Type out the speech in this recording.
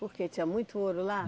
Porque tinha muito ouro lá?